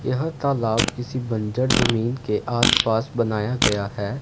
यह तालाब किसी बंजर जमीन के आसपास बनाया गया है।